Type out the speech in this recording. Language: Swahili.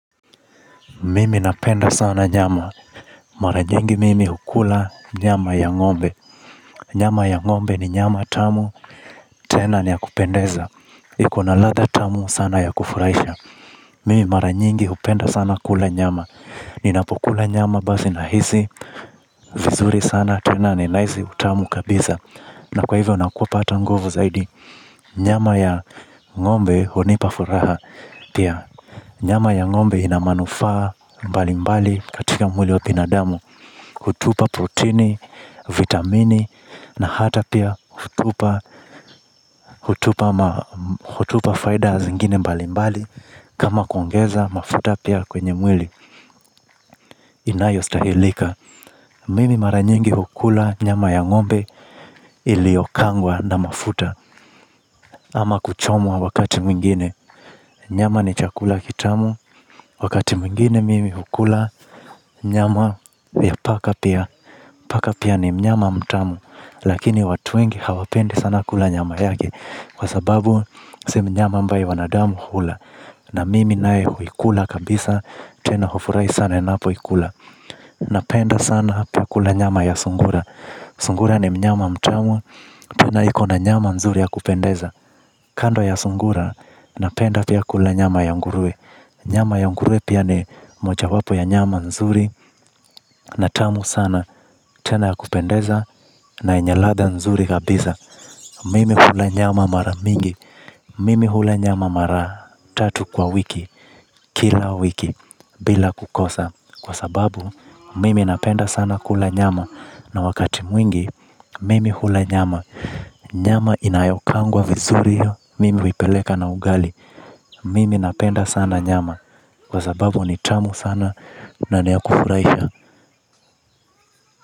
Mimi napenda sana nyama. Mara nyingi mimi hukula nyama ya ng'ombe. Nyama ya ngombe ni nyama tamu tena ni ya kupendeza. Ikona ladha tamu sana ya kufurahisha. Mimi mara nyingi hupenda sana kula nyama. Ninapukula nyama basi nahisi vizuri sana tena ninahisi utamu kabisa. Na kwa hivyo napata nguvu zaidi. Nyama ya ng'ombe hunipa furaha. Pia nyama ya ng'ombe ina manufaa mbali mbali katika mwili wa binadamu. Hutupa proteini, vitamini na hata pia hutupa hutupa faida zingine mbali mbali. Kama kuongeza mafuta pia kwenye mwili inayo stahilika. Mimi mara nyingi hukula nyama ya ng'ombe iliyokaangwa na mafuta ama kuchomwa wakati mwingine. Nyama ni chakula kitamu. Wakati mwingine mimi hukula nyama ya paka pia. Paka pia ni mnyama mtamu lakini watu wengi hawapendi sana kula nyama yake kwa sababu sio mnyama ambaye wanadamu hula. Na mimi naye huikula kabisa, tena hufurahi sana ninapoikula. Napenda sana pia kula nyama ya sungura. Sungura ni mnyama mtamu tena ikona nyama nzuri ya kupendeza. Kando ya sungura napenda pia kula nyama ya nguruwe. Nyama ya nguruwe pia ni moja wapo ya nyama nzuri na tamu sana tena ya kupendeza na yenye ladha nzuri kabisa. Mimi hula nyama mara mingi, mimi hula nyama mara tatu kwa wiki, kila wiki, bila kukosa. Kwa sababu, mimi napenda sana kula nyama na wakati mwingi, mimi hula nyama. Nyama inayokaangwa vizuri hiyo mimi huipeleka na ugali. Mimi napenda sana nyama kwa sababu ni tamu sana na niya kufurahisha.